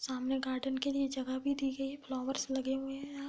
सामने गार्डन के लिए जगह भी दी गई फ्लावरस लगे हुए है यहाँ --